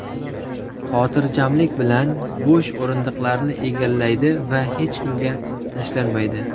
Xotirjamlik bilan bo‘sh o‘rindiqni egallaydi va hech kimga tashlanmaydi.